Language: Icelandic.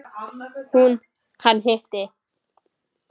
Hún: Hann hitti.